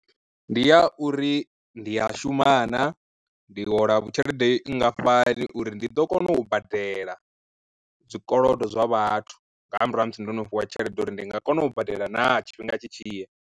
Ndi ya uri ndi a shuma na, ndi hola tshelede nngafhani uri ndi ḓo kona u badela zwikolodo zwa vhathu nga murahu ha musi ndono fhiwa tshelede uri ndi nga kona u badela naa tshifhinga tshi tshi ya.